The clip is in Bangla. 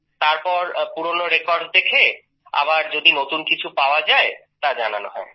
তারপর পুরনো রেকর্ডস দেখে আবার যদি নতুন কিছু পাওয়া যায় তা জানানো হয়